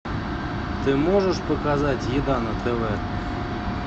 ты можешь показать еда на тв